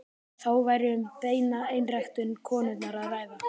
Þá væri um beina einræktun konunnar að ræða.